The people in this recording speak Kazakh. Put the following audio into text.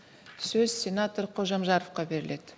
сөз сенатор қожамжаровқа беріледі